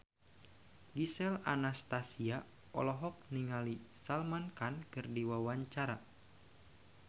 Gisel Anastasia olohok ningali Salman Khan keur diwawancara